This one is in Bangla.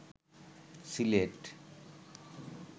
সিলেট